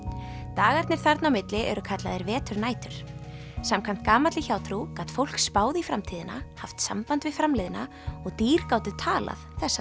dagarnir þarna mitt á milli eru kallaðir veturnætur samkvæmt gamalli hjátrú gat fólk spáð í framtíðina haft samband við framliðna og dýr gátu talað þessa